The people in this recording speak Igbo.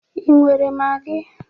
Ị nwere magi?